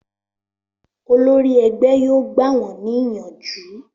Olórí ẹgbẹ́ yóò gbà wón ní ìyànjú